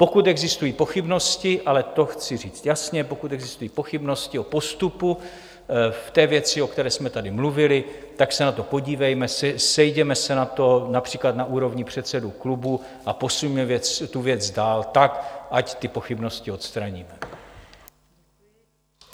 Pokud existují pochybnosti, ale to chci říct jasně, pokud existují pochybnosti o postupu v té věci, o které jsme tady mluvili, tak se na to podívejme, sejděme se na to například na úrovni předsedů klubů a posuňme tu věc dál tak, ať ty pochybnosti odstraníme.